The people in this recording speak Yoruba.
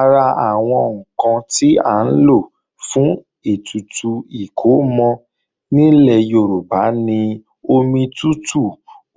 Ara àwọn ǹkan tí à ń lò fún ètùtù ìkómọ nílẹ̀ Yorùbá ni omi tútù,